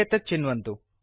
इत्येतत् चिन्वन्तु